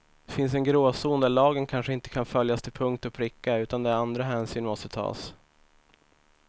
Det finns en gråzon där lagen kanske inte kan följas till punkt och pricka utan där andra hänsyn måste tas.